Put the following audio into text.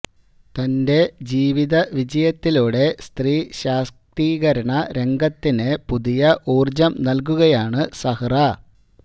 തന്റെ ജീവിത വിജയത്തിലൂടെ സത്രീ ശാക്തീകരണ രംഗത്തിന് പുതിയ ഊര്ജ്ജം നല്കുകയാണ് സഹ്റ